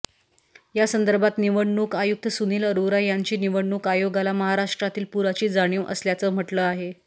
या संदर्भात निवडणूक आयुक्त सुनिल अरोरा यांनी निवडणूक आयोगाला महाराष्ट्रातील पुराची जाणीव असल्याचं म्हटलं आहे